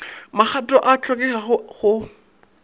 magato ao a hlokegago go